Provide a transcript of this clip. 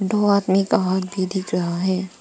दो आदमी दिख रहा है।